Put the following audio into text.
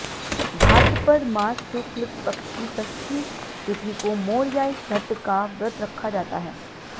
भाद्रपद मास शुक्ल पक्ष की षष्ठी तिथि को मोरयाई छठ का व्रत रखा जाता है